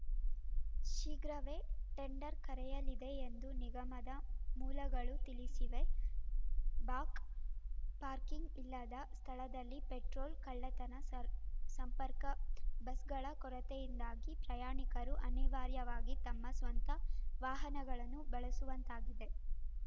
ಶೀಘ್ರವೇ ಟೆಂಡರ್‌ ಕರೆಯಲಿದೆ ಎಂದು ನಿಗಮದ ಮೂಲಗಳು ತಿಳಿಸಿವೆ ಬಾಕ್ಪಾರ್ಕಿಂಗ್‌ ಇಲ್ಲದ ಸ್ಥಳದಲ್ಲಿ ಪೆಟ್ರೋಲ್‌ ಕಳ್ಳತನ ಸರ್ ಸಂಪರ್ಕ ಬಸ್‌ಗಳ ಕೊರತೆಯಿಂದಾಗಿ ಪ್ರಯಾಣಿಕರು ಅನಿವಾರ್ಯವಾಗಿ ತಮ್ಮ ಸ್ವಂತ ವಾಹನಗಳನ್ನು ಬಳಸುವಂತಾಗಿದೆ